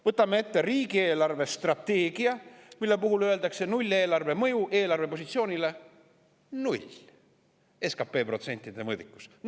Võtame ette riigi eelarvestrateegia, mille puhul öeldakse: nulleelarve mõju eelarve positsioonile on null – SKT protsentide mõõdikus.